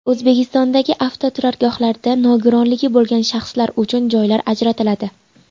O‘zbekistondagi avtoturargohlarda nogironligi bo‘lgan shaxslar uchun joylar ajratiladi.